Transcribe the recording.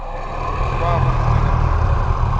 wavho muṅwe na muṅwe kha